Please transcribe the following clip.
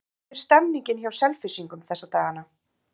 Hvernig er stemningin hjá Selfyssingum þessa dagana?